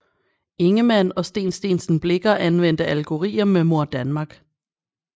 Ingemann og Steen Steensen Blicher anvendte allegorier med Mor Danmark